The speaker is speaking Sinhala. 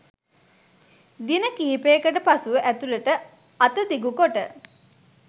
දින කිහිපයකට පසුව ඇතුළට අත දිගු කොට